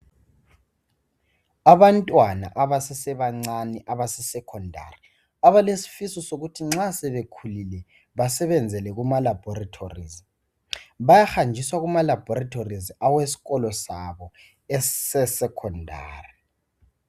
Abantwana abasesebancane abaseSekhondari abalesifiso sokuthi nxa sebekhulile basebenzele kumalabhorethi ,bayahanjiswa kumalabhorethi awesikolo sabo eseSekhondari.